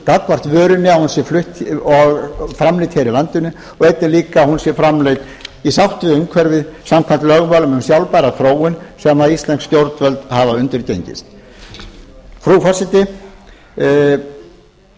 gagnvart vörunni að hún sé framleidd hér í landinu og einnig líka að hún sé framleidd í sátt við umhverfið samkvæmt lögmálum um sjálfbæra þróun sem íslensk stjórnvöld hafa undirgengist frú forseti þingflokkur